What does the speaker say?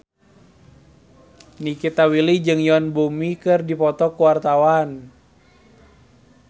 Nikita Willy jeung Yoon Bomi keur dipoto ku wartawan